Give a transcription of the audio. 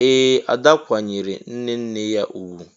Ee! Ada kwanyeere nne nne ya ugwu.